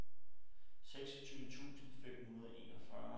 seksogtyve tusind fem hundrede og enogfyrre